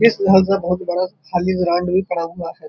इस का बोहोत बड़ा खाली ग्राउंड भी पड़ा हुआ है।